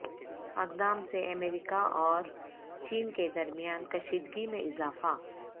اقدام سے امریکہ او رچین کے درمیان کشیدگی میں اضافہ